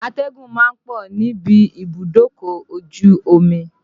Atẹ́gùn ma ń pọ̀ níbi ibùdókọ̀ ojú omi